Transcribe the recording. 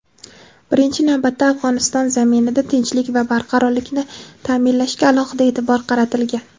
birinchi navbatda Afg‘oniston zaminida tinchlik va barqarorlikni ta’minlashga alohida e’tibor qaratilgan.